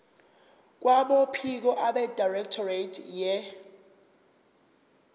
kwabophiko abedirectorate ye